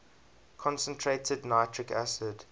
concentrated nitric acid